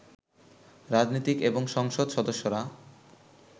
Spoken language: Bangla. রাজনীতিক এবং সংসদ সদস্যরা